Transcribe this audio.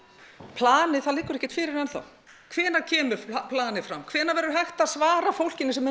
planið það liggur ekkert fyrir enn þá hvenær kemur planið fram hvenær verður hægt að svara fólkinu sem er